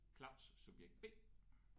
Claus subjekt B